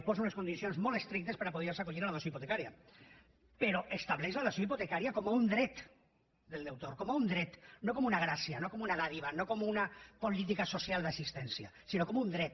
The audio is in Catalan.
posa unes condicions molt estrictes per a poder se acollir a la dació hipotecària però estableix la dació hipotecària com un dret del deutor com un dret no com una gràcia no com una dádiva no com una política social d’assistència sinó com un dret